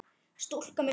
Stúlka með fingur.